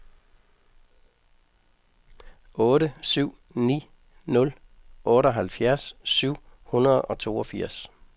otte syv ni nul otteoghalvfjerds syv hundrede og toogfirs